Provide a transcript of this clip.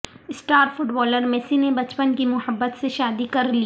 star footballer Messi نے بچپن کی محبت سے شادی کر لی